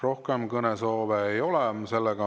Rohkem kõnesoove ei ole.